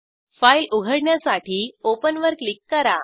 file उघडण्यासाठी open वर click करा